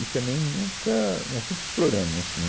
E também nunca... Nós nunca exploramos, assim